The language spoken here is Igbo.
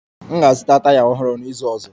M ga-azụta taya ọhụrụ n'izu ọzọ